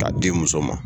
K'a di muso ma